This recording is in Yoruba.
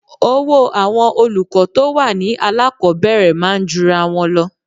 Owó àwọn olùkọ́ tó wà ní alákọ̀ọ́bẹ̀rẹ̀ máa ń jura wọn lọ.